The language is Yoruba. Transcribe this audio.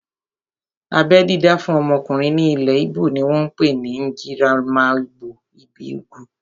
Abẹ́ dídá fún ọmọkùnrin ní ilẹ̀ íbò ni wọ́n pè ní "Njirimaralgbo ibi ugwu"